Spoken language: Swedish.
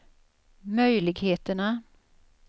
möjligheterna